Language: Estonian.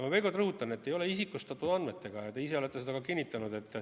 Ma veel kord rõhutan, et tegu ei ole isikustatud andmetega ja te ise olete seda ka kinnitanud.